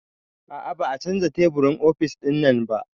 A'a ba a canza teburin ofis ɗinnan ba